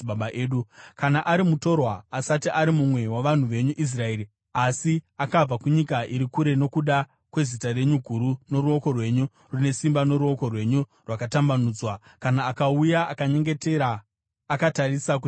“Kana ari mutorwa asati ari mumwe wavanhu venyu Israeri asi akabva kunyika iri kure nokuda kwezita renyu guru noruoko rwenyu rune simba noruoko rwenyu rwakatambanudzwa kana akauya akanyengetera akatarisa kutemberi ino,